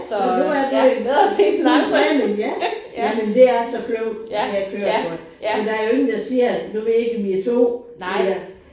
Jamen nu er du fulgt planen ja. Jamen det er så klogt at tage et kørekort. For der er jo ingen der siger at nu ved jeg ikke om I er 2 eller